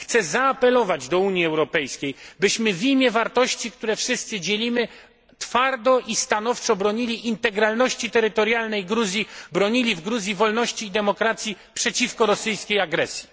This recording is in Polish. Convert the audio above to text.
Chcę zaapelować do Unii Europejskiej, byśmy w imię wartości, które wszyscy dzielimy, twardo i stanowczo bronili integralności terytorialnej Gruzji, bronili w Gruzji wolności i demokracji przeciwko rosyjskiej agresji.